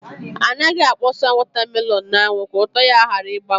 Anaghị akpọsa wọta melọn n’anwụ ka ụtọ ya ghara ịgbanwe